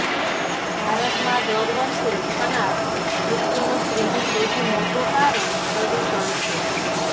ભારતમાં દર વર્ષે થનાર મૃત્યુનું ત્રીજુ સૌથી મોટું કારણ પ્રદૂષણ છે